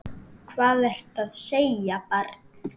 Hvað ertu að segja barn?